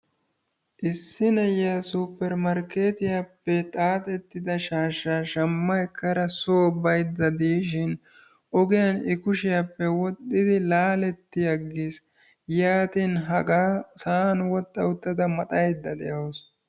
Issi nayiyaa suppermarketiyaappe xaaxida shashsha shammna ekkada soo baydda diishin I kushsiyappe ogiyaan wodhdhidi laaletti agiis. yaatin ogiyaan uttada maxxaydda dawus.